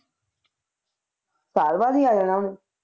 ਸਾਲ ਬਾਅਦ ਹੀ ਆ ਜਾਣਾ ਉਹਨੇ?